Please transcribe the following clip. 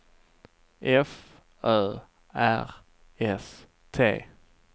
F Ö R S T